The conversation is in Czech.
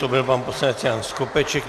To byl pan poslanec Jan Skopeček.